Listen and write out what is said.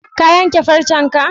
Ka yanke farcenka?